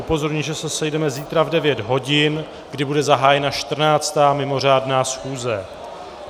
Upozorňuji, že se sejdeme zítra v 9 hodin, kdy bude zahájena 14., mimořádná schůze.